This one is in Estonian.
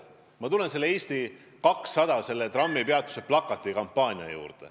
Ma tuletan meelde Eesti 200 trammipeatuse plakati kampaaniat.